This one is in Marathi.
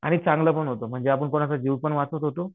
आणि चांगलं पण होतं. म्हणजे आपण कोणाचा जीव पण वाचवत होतो.